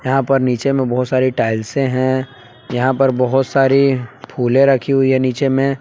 यहाँ पर नीचे मे बहुत सारी टाइल्से है यहाँ पर बहुत सारी फूलें रखी हुई है नीचे मे।